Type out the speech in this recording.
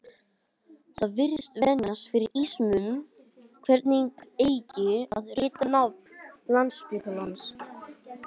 Það virðist vefjast fyrir ýmsum hvernig eigi að rita nafn Landspítalans.